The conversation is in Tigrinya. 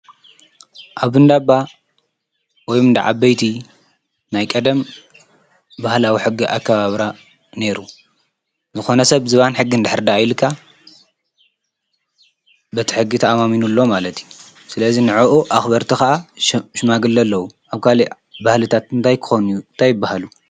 ኣብ ሕጊ ዳ ባ ቀደም ዝበን ሕጊ እንተተባሂሉ ኣይድፈርን ከዓ ኣኽበርቱ ዓበይቲ ዓዲ እዮም።